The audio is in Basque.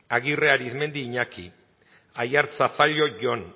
aguirre arizmendi iñaki aiartza zallo jon